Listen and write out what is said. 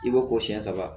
I b'o ko siyɛn saba